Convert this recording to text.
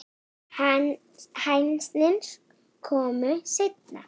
Hænsnin komu seinna.